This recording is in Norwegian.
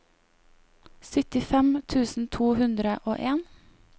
syttifem tusen to hundre og en